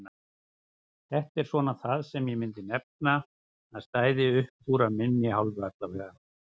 Þetta er svona það sem ég myndi nefna að stæði uppúr af minni hálfu allavega.